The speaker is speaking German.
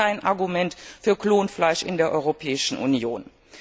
Es gibt kein Argument für Klonfleisch in der Europäischen Union.